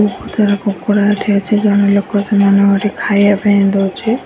କେତେ ଗୁରା କୁକୁଡ଼ା ଠିଆ ହେଇଚି। ଜଣେ ଲୋକ ସେମାନଙ୍କ କତିକି ଖାଇଆ ପାଇଁ ଦଉଚି।